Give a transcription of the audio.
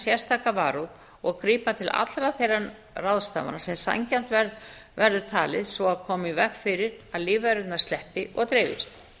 sérstaka varúð og grípa til allra þeirra ráðstafana sem sanngjarnt verður talið svo og koma í veg fyrir að lífverurnar sleppi og dreifist